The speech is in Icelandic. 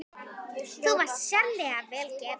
Þú varst sérlega vel gefin.